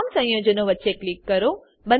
તમામ સંયોજનો વચ્ચે ક્લિક કરો